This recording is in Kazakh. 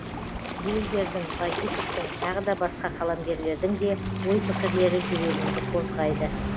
бельгердің в бадиковтың тағы басқа қаламгерлердің де ой пікірлері жүрегіңді қозғайды